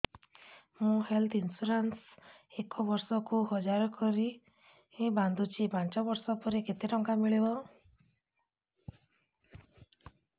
ମୁ health insurance ଏକ ବର୍ଷକୁ ହଜାର କରି ବାନ୍ଧୁଛି ପାଞ୍ଚ ବର୍ଷ ପରେ କେତେ ଟଙ୍କା ମିଳିବ